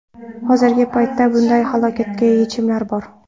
Hozirgi paytda bunday holatga yechimlar bor.